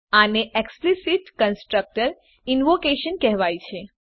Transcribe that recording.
આને explicit constructor invocation કહેવાય છે